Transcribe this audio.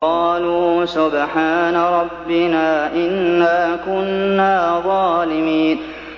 قَالُوا سُبْحَانَ رَبِّنَا إِنَّا كُنَّا ظَالِمِينَ